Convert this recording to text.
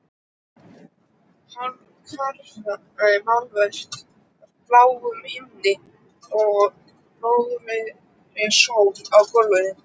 Hálfkarað málverk af bláum himni og blóðrauðri sól á gólfinu.